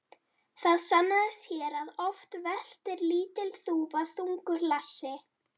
Það sannaðist hér að oft veltir lítil þúfa þungu hlassi.